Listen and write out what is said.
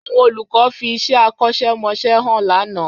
Àwọn olùkọ́ fi iṣẹ́ akọ́ṣẹ́mọṣẹ́ hàn lánàá